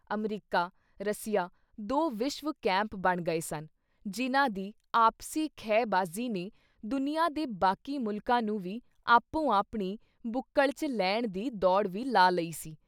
America, Russia ਦੋ ਵਿਸ਼ਵ camp ਬਣ ਗਏ ਸਨ ਜਿਨ੍ਹਾਂ ਦੀ ਆਪਸੀ ਖਹਿ-ਬਾਜ਼ੀ ਨੇ ਦੁਨੀਆਂ ਦੇ ਬਾਕੀ ਮੁਲਕਾਂ ਨੂੰ ਵੀ ਆਪੋ-ਆਪਣੀ ਬੁਕਲ਼ ‘ਚ ਲੈਣ ਦੀ ਦੌੜ ਵੀ ਲਾ ਲਈ ਸੀ।